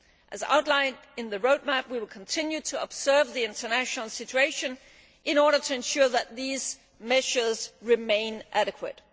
As outlined in the Roadmap, we will continue to observe the international situation in order to ensure that these measures remain adequate.